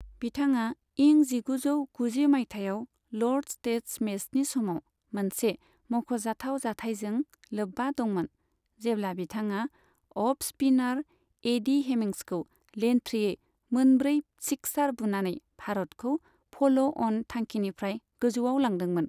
बिथाङा इं जिगुजौ गुजि मायथाइयाव ल'र्ड्स टेस्ट मेचनि समाव मोनसे मख'जाथाव जाथायजों लोब्बा दंमोन, जेब्ला बिथाङा अफ स्पिनार एडी हेमिंग्सखौ लेनथ्रियै मोनब्रै सिक्सार बुनानै भारतखौ फ'ल' अन थांखिनिफ्राय गोजौआव लांदोंमोन।